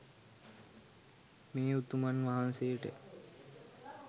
මේ උතුමන් වහන්සේට